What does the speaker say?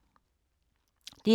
DR2